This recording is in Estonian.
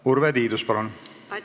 Urve Tiidus, palun!